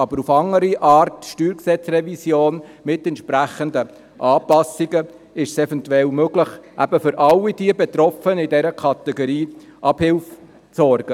Auf eine andere Art mit einer StG-Revision mit entsprechenden Anpassungen ist es eventuell möglich, für alle Betroffenen in dieser Kategorie Abhilfe zu leisten.